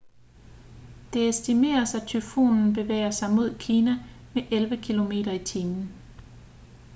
det estimeres at tyfonen bevæger sig mod kina med elleve km/t